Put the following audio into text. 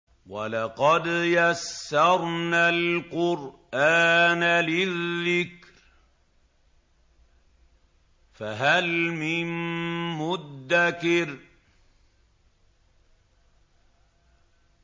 وَلَقَدْ يَسَّرْنَا الْقُرْآنَ لِلذِّكْرِ فَهَلْ مِن مُّدَّكِرٍ